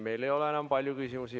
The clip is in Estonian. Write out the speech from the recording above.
Meil ei ole enam palju küsimusi.